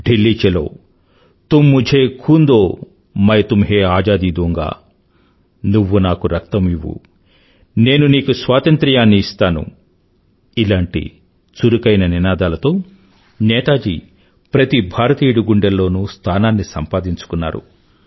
ఢిల్లీ చలో తుమ్ ముఝే ఖూన్ దో మై తుమ్హే ఆజాదీ దూంగానువ్వు నాకు రక్తం ఇవ్వు నేను నీకు స్వాతంత్రాన్ని ఇస్తాను లాంటి చురుకైన నినాదాలతో నేతాజీ ప్రతి భారతీయుడి గుండెల్లోనూ స్థానాన్ని సంపాదించుకున్నాడు